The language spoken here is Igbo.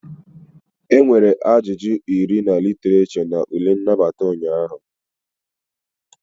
Enwere ajụjụ iri na Literature na ule nnabata ụnyaahụ